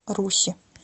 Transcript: руси